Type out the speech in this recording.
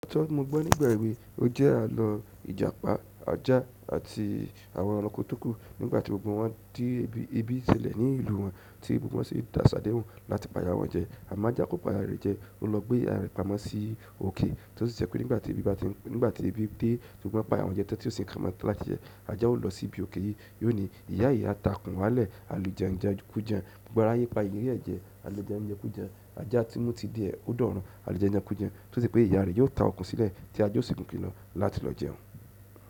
Tí mo gbọ́ nígbà èwe, ó jẹ́ àlọ́ Ìjàpá, Ajá àti àwọn ẹranko tó kù nígbà tí gbogbo wọ́n dé ibi ìṣẹ̀lẹ̀ ní ìlú wọn tí gbogbo wọn ṣe de sa sadehun láti pa ìyá wọn jẹ. Amo aja ko pa iya re je, o lo gbe iya re pamọ́ si oke torí pé nígbà tí ebi dé, gbogbo won ẹranko jẹ́ ẹran tí ó sì kan mọ́ tá tí jẹ, ajá ó lọ síbi òkè yìí, yóò ní "Ìyá ìyá, ta okùn wálẹ̀", àlùjẹ́ńjẹ kú jẹ. Gbogbo aráyé pa ìyere jẹ, àlùjańjẹ ku jan. Aja tí mu ti dié, ó dọ̀rùn, àlùjańjan kú jan. Tose pé ìyá rẹ̀ yóò ta okùn sílẹ̀ tí ajá ó sì mú ge ke lo láti lọ jẹun.